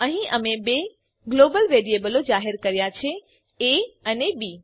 અહીં અમે બે ગ્લોબલ વેરીએબલો જાહેર કર્યા છે એ અને બી